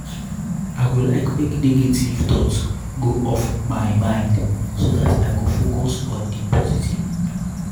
i go like make negative um thoughts go off my mind so dat i go focus on di positive.